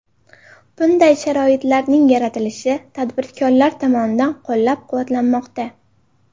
Bunday sharoitlarning yaratilishi tadbirkorlar tomonidan qo‘llab-quvvatlanmoqda.